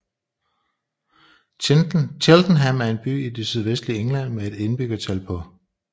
Cheltenham er en by i det sydvestlige England med et indbyggertal på